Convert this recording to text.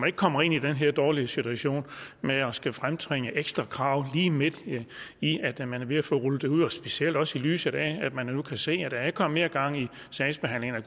ikke kommer i den her dårlige situation med at skulle fremtvinge ekstra krav lige midt i at man er ved at få rullet det ud og specielt også i lyset af at man nu kan se at der er kommet mere gang i sagsbehandlingen